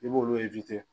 I b'olu